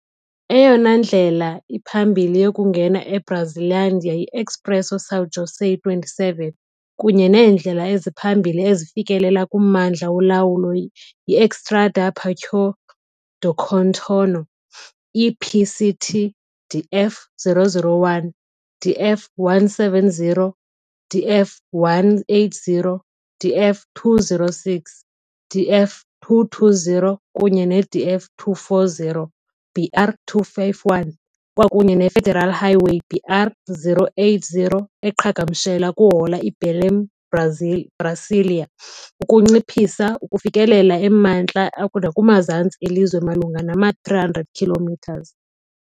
Eyona ndlela iphambili yokungena eBrazlândia yi-Expresso São José 27, kunye neendlela eziphambili ezifikelela kummandla wolawulo yi-Estrada Parque do Contorno - EPCT, DF-001, DF-170, DF-180, DF-206, DF- 220 kunye ne-DF-240, BR-251, kwakunye neFederal Highway BR-080 eqhagamshela kuhola weBelém-Brasília, ukunciphisa ukufikelela emantla nakumazantsi elizwe malunga nama-300 km.